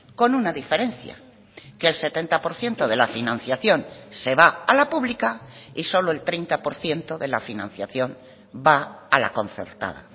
con una diferencia que el setenta por ciento de la financiación se va a la pública y solo el treinta por ciento de la financiación va a la concertada